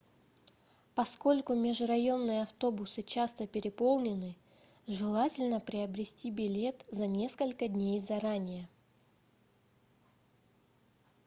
поскольку межрайонные автобусы часто переполнены желательно приобрести билет за несколько дней заранее